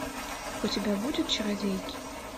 у тебя будет чародейки